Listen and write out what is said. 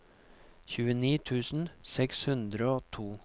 tjueni tusen seks hundre og to